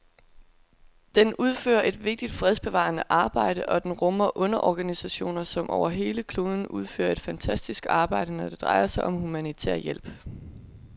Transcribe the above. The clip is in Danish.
Den udfører et vigtigt fredsbevarende arbejde, og den rummer underorganisationer, som over hele kloden udfører et fantastisk arbejde, når det drejer sig om humanitær hjælp.